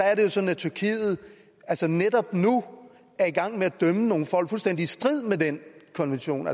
er jo sådan at tyrkiet netop nu er i gang med at dømme nogle folk fuldstændig i strid med den konvention